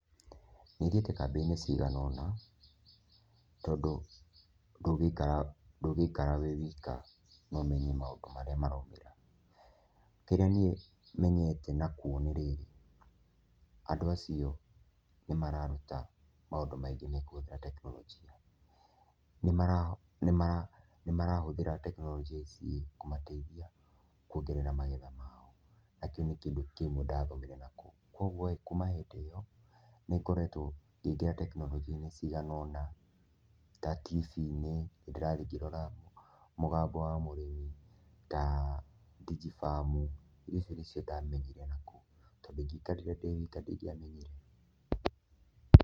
Nĩ thiĩte kambĩ-inĩ cigana ũna, tondũ ndũngĩikara wĩ wika na ũmenye maũndũ marĩa maraumĩra. Kĩrĩa niĩ menyete na kwona rĩ, andũ acio nĩ mararuta maũndũ maingĩ mekũhũthĩra tekinoronjĩa. Nĩmarahũthĩra tekinoronjĩ cikũmateithia kwongerera magetha mao. Na kĩu nĩ kĩndũ kĩmwe ndathomire na kũu. Kogwo ĩĩ, kuma hĩndĩ ĩyo nĩngoretwo ngĩingĩra tekinoronjĩ-inĩ cigana ũna ta tibii-inĩ, nindĩrathiĩ ngĩroraga mũgambo wa mũrĩmi, ta Digifarm. Indo icio nĩcio ndamenyire na kũu. Tondũ ingĩaikarire ndĩ wika ndingĩamenyire.